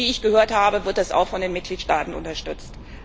Und wie ich gehört habe, wird das auch von den Mitgliedstaaten unterstützt.